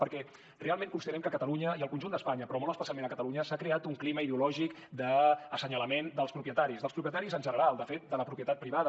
perquè realment considerem que a catalunya i al conjunt d’espanya però molt especialment a catalunya s’ha creat un clima ideològic de senyalament dels propietaris dels propietaris en general de fet de la propietat privada